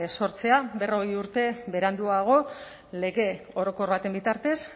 sortzea berrogei urte beranduago lege orokor baten bitartez